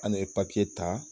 An ne ye papiye ta